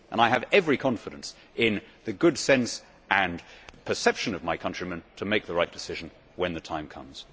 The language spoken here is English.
I have every confidence in the good sense and perception of my countrymen to make the right decision when the time comes.